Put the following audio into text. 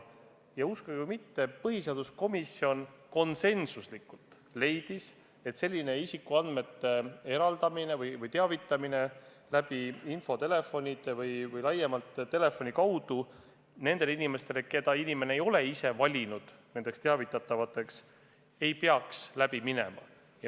Ja uskuge või mitte, põhiseaduskomisjon leidis konsensuslikult, et selline isikuandmete edastamine ja infotelefoni teel või üldse telefoni kaudu nende inimeste teavitamine, keda patsient ei ole ise teavitatavaks valinud, ei peaks läbi minema.